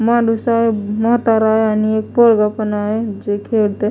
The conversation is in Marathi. माणूस आहे म्हातारा आहे आणि एक पोरगं पण आहे जे खेळतंय.